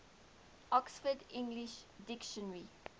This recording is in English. oxford english dictionary